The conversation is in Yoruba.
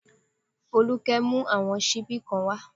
Folúkẹ́ mú àwọn ṣíbí kan wá